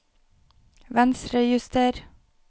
Venstrejuster